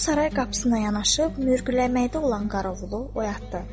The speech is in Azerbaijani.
O saray qapısına yanaşıb mürgüləməkdə olan Qaravulu oyatdı